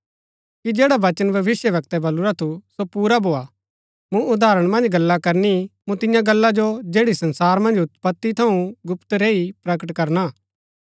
कि जैडा वचन भविष्‍यवक्तै बलुरा थु सो पुरा भोआ मूँ उदाहरण मन्ज गल्ला करनी मूँ तियां गल्ला जो जैड़ी संसार मन्ज उत्पति थऊँ गुप्त रैई प्रकट करणा